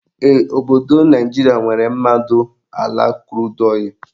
Ee, obodo Naijiria nwere mmadụ ala krud ọịlụ